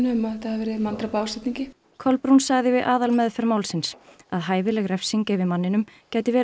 um að þetta hafi verið manndráp af ásetningi Kolbrún sagði við aðalmeðferð málsins að hæfileg refsing yfir manninum gæti verið